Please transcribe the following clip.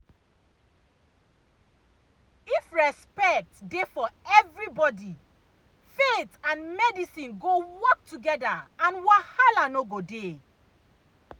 if respect dey for everybody faith and medicine go work together and wahala no go dey.